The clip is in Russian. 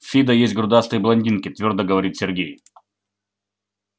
в фидо есть грудастые блондинки твёрдо говорит сергей